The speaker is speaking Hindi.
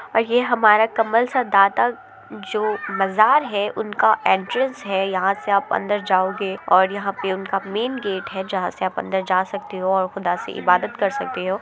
और ये हमारा कमल सा दाता जो मजार है उनका एंट्रेंस है। यहां से आप अंदर जाओगे और यहां पे उनका मेंन गेट है जहां से आप अंदर जा सकते हो और खुदा से इबादत कर सकते हो।